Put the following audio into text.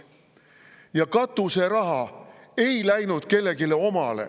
Ja katuseraha ei läinud kellelegi omale.